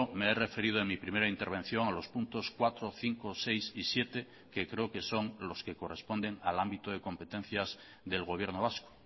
me he referido en mi primera intervención a los puntos cuatro cinco seis y siete que creo que son los que corresponden al ámbito de competencias del gobierno vasco